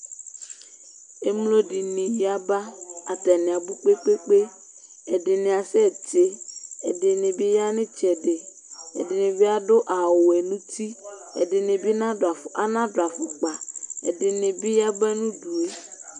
Ẹmlo ɖɩnɩ yaba, atanɩ abu kpe kpe kpe Ɛɖɩnɩ asɛ tɩ, ɛɖɩnɩ bɩ aya nitsɛɖɩ, ɛɖɩnɩ bɩ aɖu awu wɛ nu tɩ, ɛɖɩnɩ bɩ naɖụ afu anaɖu afukpa Ɛɖɩnɩ bɩ aya ba nu uɖue